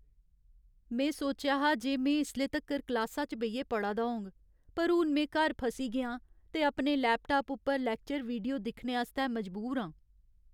में सोचेआ हा जे में इसले तक्कर क्लासा च बेहियै पढ़ा दा होङ, पर हून में घर फसी गेआं ते अपने लैपटाप उप्पर लैक्चर वीडियो दिक्खने आस्तै मजबूर आं।